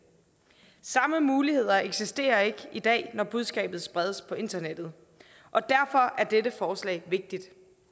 samme muligheder eksisterer ikke i dag når budskabet spredes på internettet og derfor er dette forslag vigtigt